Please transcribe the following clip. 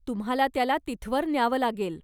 तुम्हाला त्याला तिथवर न्यावं लागेल.